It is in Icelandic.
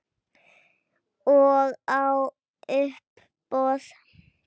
Og á uppboð.